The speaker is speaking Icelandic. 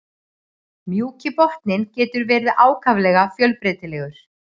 Mjúki botninn getur verið ákaflega fjölbreytilegur.